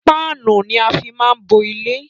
Páánù ni á máa fí ń bo ilé.